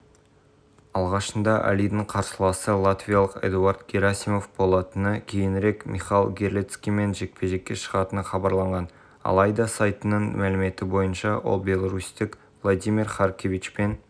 бокстан жартылай ауыр салмақта өнер көрсететін қазақстандық әли ахмедов желтоқсан күні польшада кәсіби рингтегі жекпе-жегін өткізеді бұл туралы хабарлады